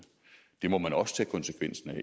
det må man også tage konsekvensen af